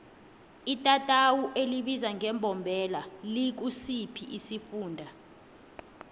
itatawu elibizwa ngembombela likusiphi isifunda